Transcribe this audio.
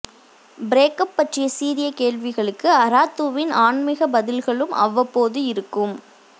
break up பற்றிய சீரிய கேள்விகளுக்கு அராத்துவின் ஆன்மீக பதில்களும் அவ்வப்போது இருக்கும்